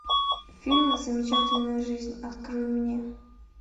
фильм замечательная жизнь открой мне